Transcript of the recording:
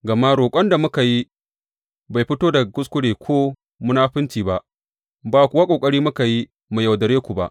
Gama roƙon da muke yi bai fito daga kuskure ko munafunci ba, ba kuwa ƙoƙari muke yi mu yaudare ku ba.